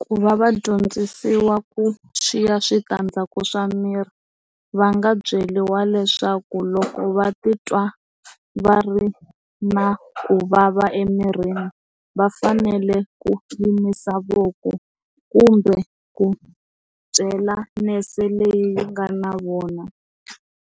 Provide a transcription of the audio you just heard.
Ku va va dyondzisiwa ku swiya switandzhaku swa miri va nga byeriwa leswaku loko va titwa va ri na ku vava emirini va fanele ku yimisa voko kumbe ku byela nurse leyi nga na vona